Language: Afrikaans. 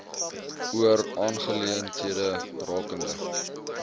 oor aangeleenthede rakende